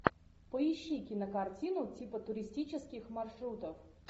поищи кинокартину типа туристических маршрутов